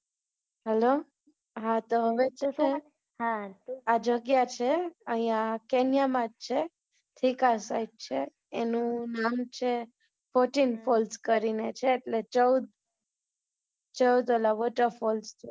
hello હા તો હવે છે ને, હમ આ જગ્યા છે, અહિંયા કેન્યામાં જ છે, thika site છે, એનુ નામ છે fourteen falls કરીને છે, એટલે ચૌદ ચૌદ ઓલા water falls છે